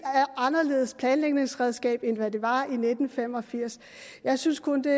anderledes planlægningsredskab end de var i nitten fem og firs jeg synes kun det